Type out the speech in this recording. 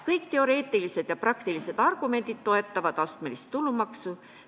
Kõik teoreetilised ja praktilised argumendid toetavad astmelist tulumaksu.